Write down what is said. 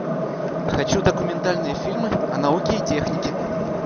хочу документальные фильмы о науке и технике